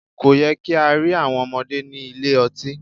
Kò yẹ kí á rí àwọn ọmọdé ní ilé ọtí.